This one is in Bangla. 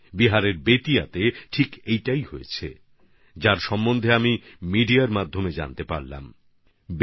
বিহারের বেতিয়ায় এটাই হয়েছে যা নিয়ে আমি সংবাদ মাধ্যমে পড়েছি